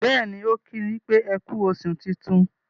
béèni o ki wípé eku oṣù tintun.